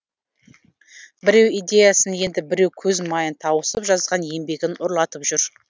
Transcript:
біреу идеясын енді біреу көз майын тауысып жазған еңбегін ұрлатып жүр